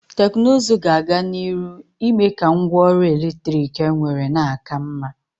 Teknuzu ga-aga n'iru ime ka ngwa ọrụ eletrik enwere na-aka mma.